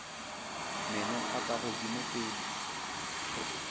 meno a ka godimo pele